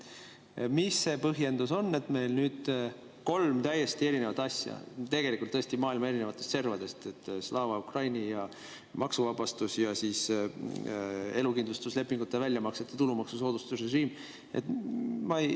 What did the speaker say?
Mis see põhjendus on, et meil nüüd on kolm täiesti erinevat asja, tegelikult tõesti maailma erinevatest servadest: Slava Ukraini ja maksuvabastus ja elukindlustuslepingute väljamaksete tulumaksusoodustuste režiim?